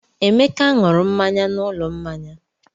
Emeka ṅụrụ mmanya n'ụlọ mmanya.